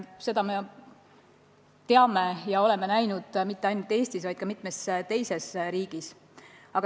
Seda me oleme näinud mitte ainult Eestis, vaid ka mitmes teises riigis.